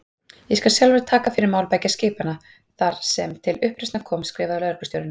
Ég skal sjálfur taka fyrir mál beggja skipanna, þar sem til uppreisnar kom skrifaði lögreglustjórinn.